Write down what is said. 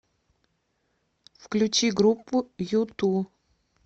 включи группу юту